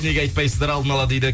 неге айтпайсыздар алдын ала дейді